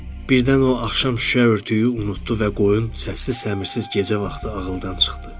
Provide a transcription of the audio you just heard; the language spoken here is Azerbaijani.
Birdən o axşam şüşə örtüyünü unutdu və qoyun səssiz-səmirsiz gecə vaxtı ağıldan çıxdı.